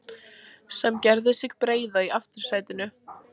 sem gerði sig breiða í aftursætinu.